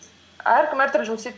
әркім әртүрлі жұмыс істейді